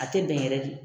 A tɛ bɛn yɛrɛ de